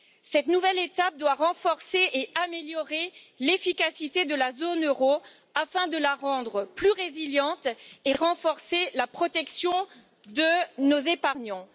Cette nouvelle étape doit renforcer et améliorer l'efficacité de la zone euro afin de la rendre plus résiliente et de renforcer la protection de nos épargnants.